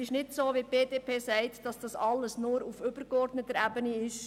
Es ist auch nicht so, wie die BDP-Fraktion sagt, dass das alles nur auf übergeordneter Ebene ist.